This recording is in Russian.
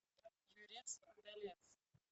юрец удалец